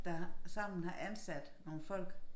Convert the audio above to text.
Der sammen har ansat nogle folk